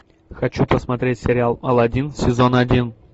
хочу посмотреть сериал аладдин сезон один